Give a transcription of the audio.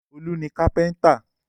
Olú ni kápẹ́ńtà.